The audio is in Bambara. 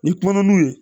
Ni kumana n'u ye